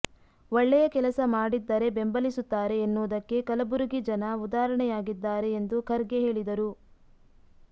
ಒಳ್ಳೆಯಕೆಲಸ ಮಾಡಿದ್ದರೆ ಬೆಂಬಲಿಸುತ್ತಾರೆ ಎನ್ನುವುದಕ್ಕೆ ಕಲಬುರಗಿ ಜನ ಉದಾಹರಣೆಯಾಗಿದ್ದಾರೆ ಎಂದು ಖರ್ಗೆ ಹೇಳಿದರು